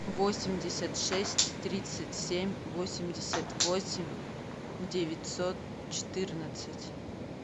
восемьдесят шесть тридцать семь восемьдесят восемь девятьсот четырнадцать